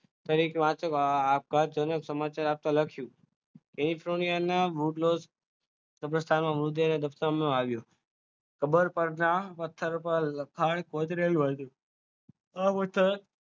તારીખ આવતા તારીખ વાંચતા સમાચાર આપેલા છે કેલીફોનિયાના કબ્રસ્તાનમાં મૃત્યુ રસ્તામાં હાલ્યો ખબર પડ ના લખાણ કૂતરું હતું આ